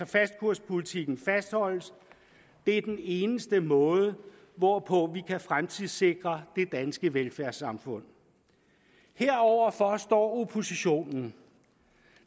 fastkurspolitikken fastholdes det er den eneste måde hvorpå vi kan fremtidssikre det danske velfærdssamfund heroverfor står oppositionen